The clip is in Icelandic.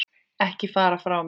Ekki fara frá mér!